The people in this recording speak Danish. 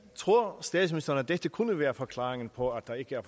tror statsministeren at dette kunne være forklaringen på at der ikke er